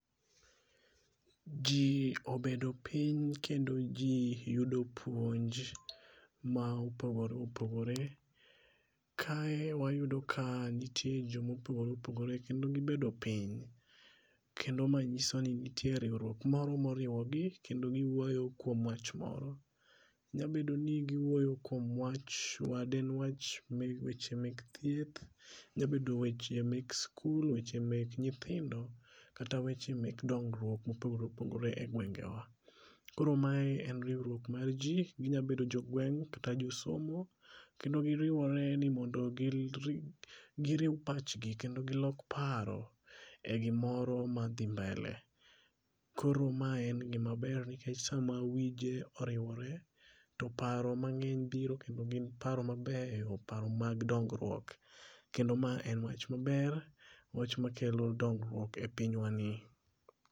Ji obedo piny, kendo ji yudo puonj ma opogore opogore. Kae wayudo ka nitie joma opogore opogore kendo gibedo piny. Kendo mae nyiso ni nitiere riwruok moro ma oriwo gi, kendo giwuoyo kuom wach moro. Nyalo bedo ni giwuoyo kuom wach weche meg thieth, nyabedo weche meg sikul, weche mech nyithindo kata weche meg dongruok ma opogore opogore e gwenge wa. Koro mae en riwruok mar ji, ginyabedo jogweng' kata josomo. Kendo giriwore ni mondo gi giriw pachgi kendo gilok paro e gimoro madhi mbele. Koro mae en gima ber nikech sama wije oriwore, to paro mang'eny biro, kendo gin paro mabeyo, paro mag dongruok. Kendo mae en wach maber, wach makelo dongruok e pinywani.